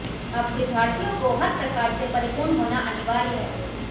अब विद्यार्थियों को हर प्रकार से परिपूर्ण होना अनिवार्य है